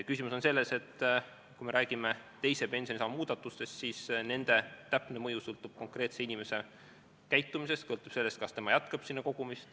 Küsimus on selles, et kui me räägime teise pensionisamba muudatustest, siis nende täpne mõju sõltub konkreetse inimese käitumisest, sõltub sellest, kas ta jätkab kogumist.